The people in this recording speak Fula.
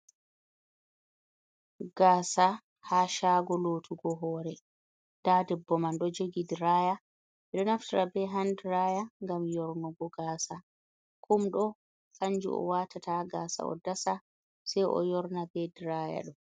Gaasa ha shago lotugo hore, nda ɗebbo man ɗo jogi draya ɓeɗo naftira be han draya ngam yornogo gasa kum ɗo kanju o watata gasa o dasa sei o yorna be draya ɗo.